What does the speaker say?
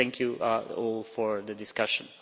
Thank you all for the discussion.